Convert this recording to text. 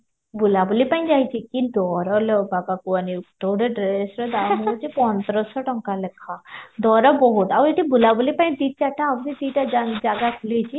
ବୁଲା ବୁଲି ପାଇଁ ଯାଇଚି କି ଦର ଲୋ ବାପା କୁହନି ଡ୍ରେସ ର ଦାମ ହଉଚି ପନ୍ଦରଶହ ଟଙ୍କା ଲେଖା ଦର ବହୁତ ଆଉ ଏଠି ବୁଲା ବୁଲି ପାଇଁ ଦି ଚାରିଟା ଜାଗା ଖୁଲିଚି